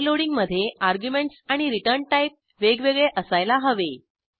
overloading मधे arguments आणि return type वेगवेगळे असायला हवे